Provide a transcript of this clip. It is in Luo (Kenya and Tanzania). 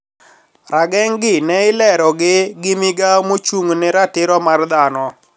Rageng` gi ne ilero gi ,gi migao mochung` ne ratiro mar dhano